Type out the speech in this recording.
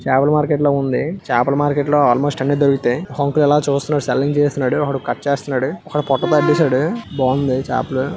చేపల మార్కెట్ లా ఉంది చాపలు మార్కెట్ లో అల్మోస్ట్ అన్ని దొరుకుతాయి ఒక అంకుల్ ఇలా చూస్తున్నాడు సెల్లింగ్ చేస్తున్నాడు ఒకడు కట్ చేస్తున్నాడు ఒకడు పొట్ట బయటేశాడు బాగుంది చాపలు.